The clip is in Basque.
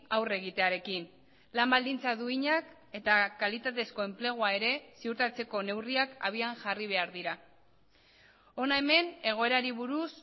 aurre egitearekin lan baldintza duinak eta kalitatezko enplegua ere ziurtatzeko neurriak abian jarri behar dira hona hemen egoerari buruz